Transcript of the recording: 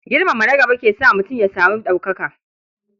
Girmama na gaba ke sa mutum ya samu ɗaukaka.